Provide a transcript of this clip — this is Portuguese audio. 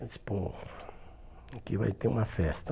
Eu disse, pô, aqui vai ter uma festa.